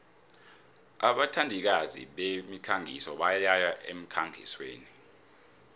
abathandikazi bemikhangiso bayaya emkhangisweni